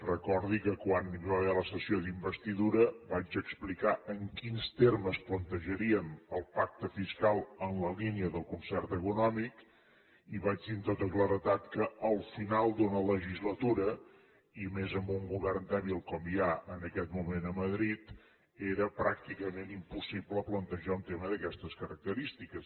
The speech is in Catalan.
recordi que quan hi va haver la sessió d’investidura vaig explicar en quins termes plantejaríem el pacte fiscal en la línia del concert econòmic i vaig dir amb tota claredat que al final d’una legislatura i més amb un govern dèbil com hi ha en aquest moment a madrid era pràcticament impossible plantejar un tema d’aquestes característiques